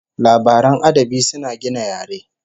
Labaran adabi suna gina yare